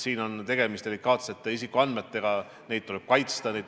Siin on tegemist delikaatsete isikuandmetega, neid tuleb kaitsta.